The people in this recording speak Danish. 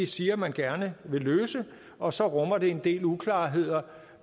siger man gerne vil løse og så rummer det en del uklarheder